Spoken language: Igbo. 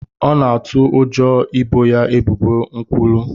Ọ na-atụ ụjọ ị boo ya ebubo nkwulu.